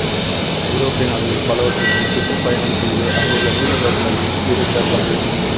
ஐரோப்பிய நாடுகள் பலவற்றுக்குச் சுற்றுப் பயணம் செய்து அங்குள்ள நூலகங்களில் இருந்த தமிழ்